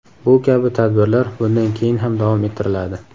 Bu kabi tadbirlar bundan keyin ham davom ettiriladi.